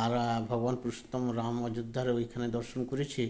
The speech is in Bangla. আর ভগবান পুরুষোত্তম রাম অযোধ্যার ঐখানে দর্শন করেছি